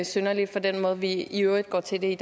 synderligt fra den måde vi i øvrigt går til det